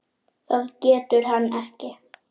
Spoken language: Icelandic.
Það getur hann ekki.